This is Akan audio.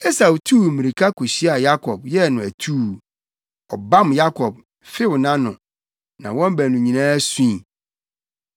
Esau tuu mmirika kohyiaa Yakob, yɛɛ no atuu. Ɔbam Yakob, few nʼano. Na wɔn baanu nyinaa sui.